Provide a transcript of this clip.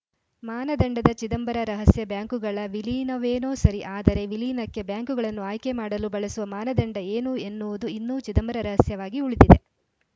ಮಾನದಂಡದ ಚಿದಂಬರ ರಹಸ್ಯ ಬ್ಯಾಂಕುಗಳ ವಿಲೀನವೇನೋ ಸರಿ ಆದರೆ ವಿಲೀನಕ್ಕೆ ಬ್ಯಾಂಕುಗಳನ್ನು ಆಯ್ಕೆ ಮಾಡಲು ಬಳಸುವ ಮಾನದಂಡ ಏನು ಎನ್ನುವುದು ಇನ್ನೂ ಚಿದಂಬರ ರಹಸ್ಯವಾಗಿ ಉಳಿದಿದೆ